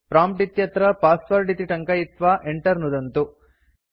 prompt इत्यत्र password इति टङ्कयित्वा enter नुदन्तु